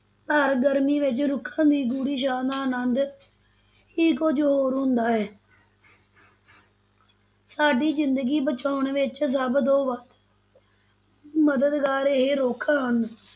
ਤਾਂ ਗਰਮੀ ਵਿਚ ਰੁੱਖਾਂ ਦੀ ਗੂੜ੍ਹੀ ਛਾਂ ਦਾ ਅਨੰਦ ਹੀ ਕੁੱਝ ਹੋਰ ਹੁੰਦਾ ਹੈ ਸਾਡੀ ਜ਼ਿੰਦਗੀ ਬਚਾਉਣ ਵਿੱਚ ਸਭ ਤੋਂ ਵੱਧ ਮਦਦਗਾਰ ਇਹ ਰੁੱਖ ਹਨ,